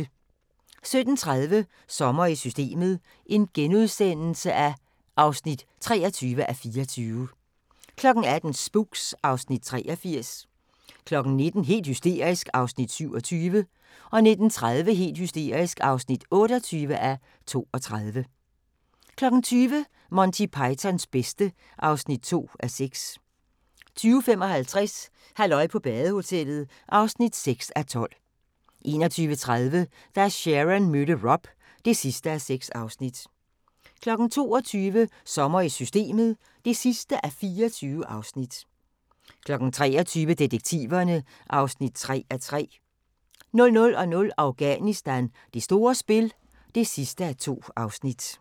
17:30: Sommer i Systemet (23:24)* 18:00: Spooks (Afs. 83) 19:00: Helt hysterisk (27:32) 19:30: Helt hysterisk (28:32) 20:00: Monty Pythons bedste (2:6) 20:55: Halløj på badehotellet (6:12) 21:30: Da Sharon mødte Rob (6:6) 22:00: Sommer i Systemet (24:24) 23:00: Detektiverne (3:3) 00:00: Afghanistan: Det store spil (2:2)